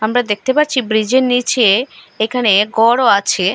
আমরা দেখতে পাচ্ছি ব্রীজের নীচে এখানে গরও আছে।